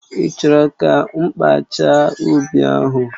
Ị́ chọrọ ka mkpaacha ubi ahụ